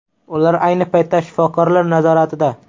Ular ayni paytda shifokorlar nazoratida.